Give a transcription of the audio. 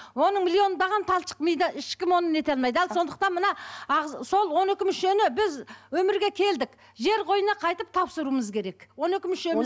оның миллиондаған талшық мида ешкім оны не ете алмайды ал сондықтан мына сол он екі мүшені біз өмірге келдік жер қойнына қайтып тапсыруымыз керек он екі мүшеміз